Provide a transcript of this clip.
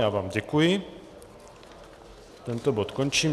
Já vám děkuji, tento bod končím.